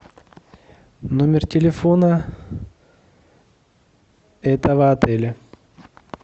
номер телефона этого отеля